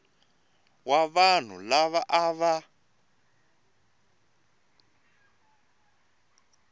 wa vanhu lava a va